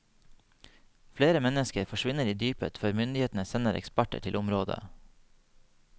Flere mennesker forsvinner i dypet før myndighetene sender eksperter til området.